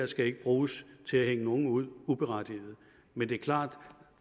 skal bruges til at hænge nogen ud med uberettiget men det er klart